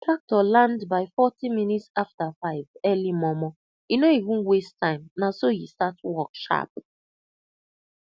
tractor land by forty minutes after five early momo e no even waste time na so e start work sharp